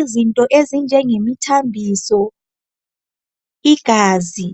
Izinto ezinjenge mithambiso, igazi